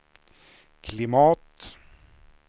klimat